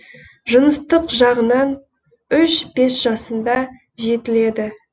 жыныстық жағынан үш бес жасында жетіледі